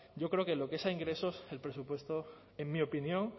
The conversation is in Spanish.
yo creo que lo que es a ingresos el presupuesto en mi opinión